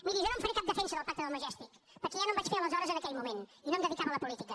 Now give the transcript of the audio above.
miri jo no en faré cap defensa del pacte del majestic perquè ja no en vaig fer aleshores en aquell moment i no em dedicava a la política